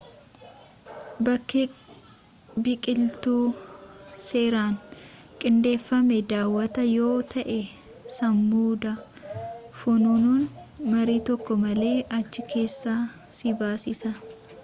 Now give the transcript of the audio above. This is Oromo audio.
bakkee biqiltuu seeraan qindeeffame daawatta yoo ta'e samuuda funaanuun marii tokko malee achi keessaa si baasisa